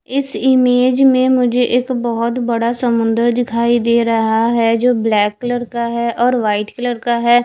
इस इमेज में मुझे एक बहुत बड़ा समुंदर दिखाई दे रहा है जो ब्लैक कलर का है और वाइट कलर का है।